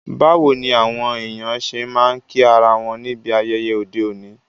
Báwoni àwon èyàn se ma n kí ara won níbi ayẹyẹ ọ́de òní?